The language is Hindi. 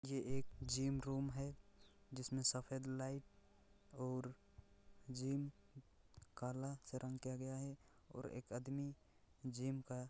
ये एक जिम रूम है जिसमे सफ़ेद लाइट और जिम काला से रंग किया गया है और एक आदमी जिम कर--